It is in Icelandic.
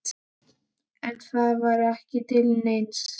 En það var ekki til neins.